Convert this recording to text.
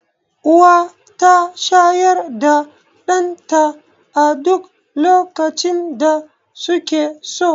Uwa ta shayar da ɗan ta a duk lokacin da suke so